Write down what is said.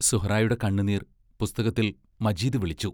സുഹ്റായുടെ കണ്ണുനീർ പുസ്തകത്തിൽ മജീദ് വിളിച്ചു.